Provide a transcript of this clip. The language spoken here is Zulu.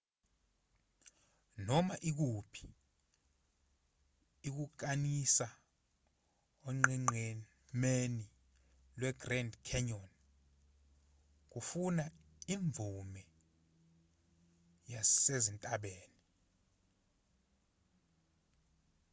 noma ikuphi ukukanisa onqenqemeni lwegrand canyon kufuna imvume yasezintabeni